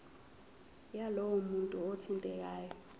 yalowo muntu othintekayo